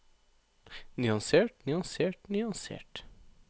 nyansert nyansert nyansert